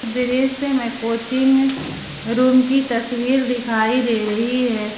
दृश्य में coaching room की तस्वीर दिखाई दे रही है।